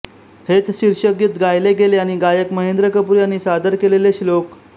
हेच शीर्षकगीत गायले गेले आणि गायक महेंद्र कपूर यांनी सादर केलेले श्लोक